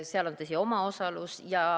Seal on, tõsi, omaosalus.